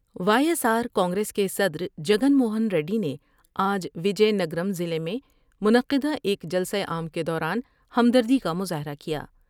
Y S R Congress کے صدرجگن موہن ریڈی نے آج وجے نگر ضلع میں منعقدہ ایک جلسہ عام کے دوران ہمدردی کا مظاہرہ کیا ۔